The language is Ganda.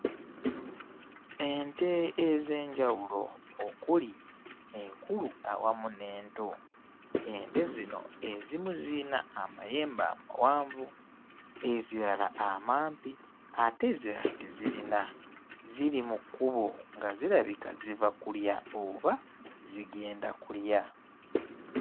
Ente ez'enjawulo okuli enkulu awamu n'ento ente zino ezimu ziyina amayembe amawanvu ezirala amampi ate ezirala tezirina ziri mu kkubo nga zirabika ziva kulya oba zigenda kulya.